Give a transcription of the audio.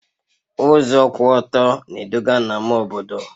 Ụzọ kwụ ọtọ na-eduga na ama obodo